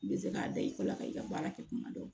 I bɛ se k'a da i kɔ la ka i ka baara kɛ kuma dɔw